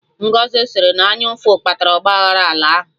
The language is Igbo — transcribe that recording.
Ngọzi sịrị na ọ anyụ ụfụ kpatara ọgba aghara ala ahụ